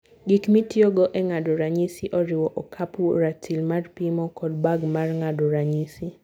Gik mitiyogo e ng'ado ranyisi oriwo: okapu, ratil mar pimo, kod bag mar ng'ado ranyisi.